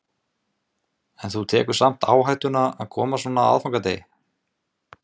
Karen: En þú tekur samt áhættuna að koma svona á aðfangadegi?